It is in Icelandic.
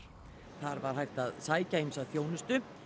þar var hægt að sækja ýmsa þjónustu